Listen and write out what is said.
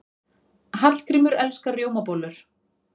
Hallgrímur elskar rjómabollur.